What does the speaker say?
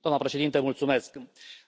Doamnă președintă,